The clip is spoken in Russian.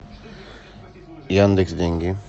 яндекс деньги